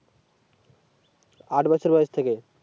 আট বছর বয়স থেকে